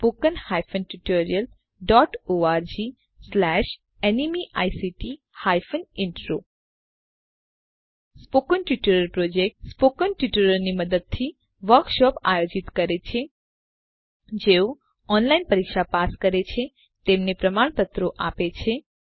spoken tutorial project મૌખિક ટ્યુટોરીયલોનાં મદદથી વર્કશોપ નું આયોજન કરે છે જેઓ ઓનલાઈન પરીક્ષા પાસ કરે છે તેમને પ્રમાણપત્રો પણ આપે છે